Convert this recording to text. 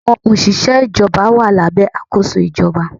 Àwọn òṣìṣẹ́ ìjọba wà lábẹ́ àkóso ìjọba.